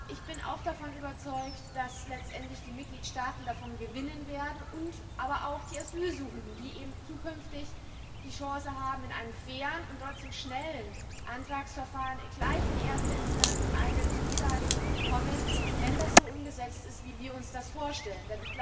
Ich bin auch davon überzeugt, dass letztendlich die Mitgliedstaaten davon profitieren werden, aber auch die Asylsuchenden, die eben künftig die Chance haben, in einem fairen und trotzdem schnellen Antragsverfahren gleich in erster Instanz eine Zusage zu bekommen, wenn das so umgesetzt wird, wie wir uns das vorstellen.